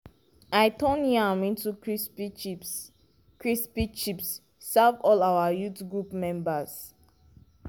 i turn yam to crispy chips crispy chips serve all our youth group members.